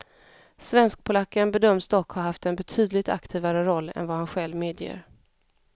Svenskpolacken bedöms dock ha haft en betydligt aktivare roll än vad han själv medger.